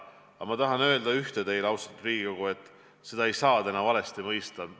Aga ma tahan öelda teile üht, austatud Riigikogu, ja seda ei saa valesti mõista.